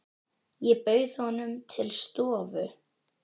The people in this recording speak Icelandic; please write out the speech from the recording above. Ég bauð honum til stofu.